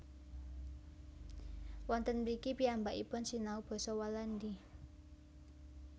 Wonten mriki piyambakipun sinau basa Walandi